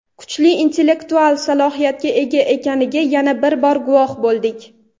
kuchli intellektual salohiyatga ega ekaniga yana bir bor guvoh bo‘ldik.